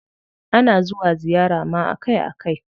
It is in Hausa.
Ana zuwa ziyara ma akai akai.